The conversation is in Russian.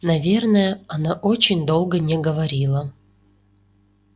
наверное она очень долго не говорила